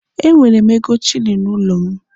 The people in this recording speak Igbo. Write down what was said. E nwere m ego shilini n'ụlọ m.